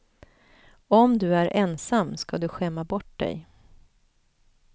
Om du är ensam ska du skämma bort dig.